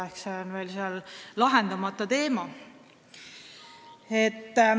Nii et see on seal lahendamata teema.